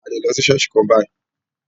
A lè lọ sí ṣọ̀ọ́sì kan bayìí.